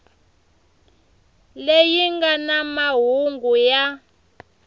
leyi nga na mahungu ya